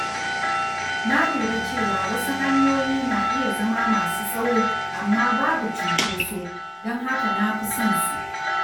Na lura cewa wasu hanyoyi na iya zama masu tsawo amma babu cunkoso, don haka na fi son su.